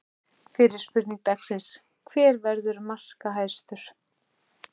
Fyrri spurning dagsins: Hver verður markahæstur?